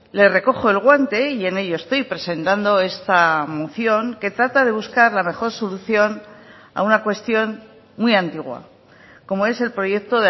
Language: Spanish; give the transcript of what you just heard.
le recojo el guante y en ello estoy presentando esta moción que trata de buscar la mejor solución a una cuestión muy antigua como es el proyecto